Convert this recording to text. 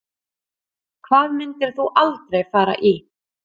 Hvað myndir þú aldrei fara í